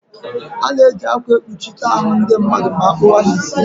Ana-eji akwa ekpuchite ahụ ndị mmadụ ma akpụwa ha isi.